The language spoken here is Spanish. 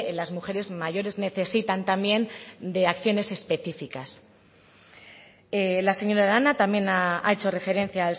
las mujeres mayores necesitan también de acciones específicas la señora arana también ha hecho referencia